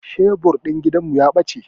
Shebur din gidan mu ya bace